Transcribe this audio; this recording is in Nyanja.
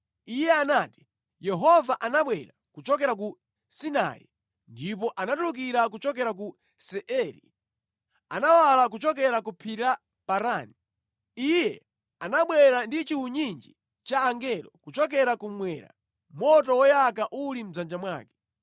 Iye anati: “Yehova anabwera kuchokera ku Sinai ndipo anatulukira kuchokera ku Seiri; anawala kuchokera pa Phiri la Parani. Iye anabwera ndi chiwunyinji cha angelo kuchokera kummwera, moto woyaka uli mʼdzanja mwake.